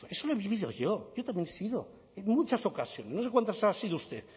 en venezuela eso lo he vivido yo yo también he sido en muchas ocasiones no sé cuántas ha sido usted